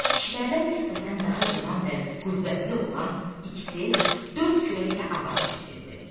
Kişilərdən nisbətən daha cavan və qüvvətli olan ikisi dörd kürəklə avar çəkirdi.